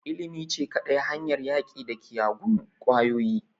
Ilimi ce kadai hanyar yaƙi da kiyagun ƙwayoyi